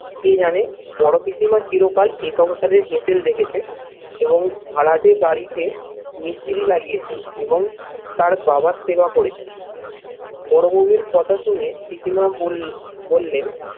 কে জানে? বড় পিসিমা চিরকাল এ সংসারের হেঁসেল দেখেছে এবং ভাড়াটে বাড়িতে মিস্ত্রি লাগিয়েছে এবং তার বাবার সেবা করেছেন বৌয়ের কথা শুনে পিসিমা বল বললেন